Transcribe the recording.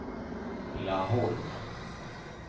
Laholm